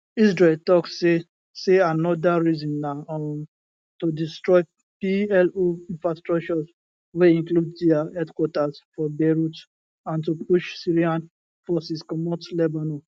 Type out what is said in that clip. israel tok say say aanoda reason na um to destroy plo infrastructure wey include dia headquarters for beirut and to push syrian forces comot lebanon